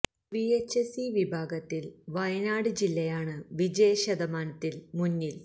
V H S E വിഭാഗത്തില് വയനാട് ജില്ലയാണ് വിജയശതമാനത്തില് മുന്നില്